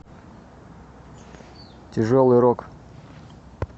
тяжелый рок